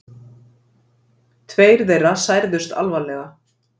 Tveir þeirra særðust alvarlega